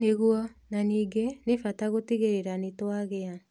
Nĩguo, na ningĩ, nĩ bata gũtigĩrĩra nĩ twagĩa